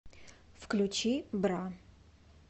включи бра